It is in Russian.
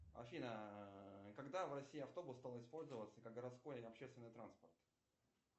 афина когда в россии автобус стал использоваться как городской общественный транспорт